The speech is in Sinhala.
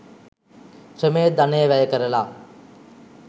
ශ්‍රමය, ධනය වැයකරලා